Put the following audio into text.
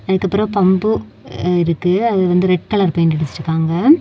அதுக்கப்புறம் பம்பும் இருக்கு அது வந்து ரெட் கலர் பெயிண்ட் அடிச்சிருக்காங்க.